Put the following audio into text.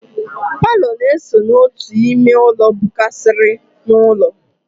Paalọ na-esokwa n'otu ime ụlọ bụkarịsịrị n'ụlọ.